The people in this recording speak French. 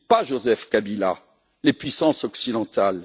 Pas Joseph Kabila, les puissances occidentales.